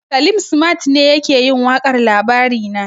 Salim simat ne yake yin waƙar labarina